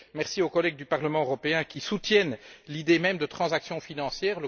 Merci aux collègues du Parlement européen qui soutiennent l'idée même de transactions financières.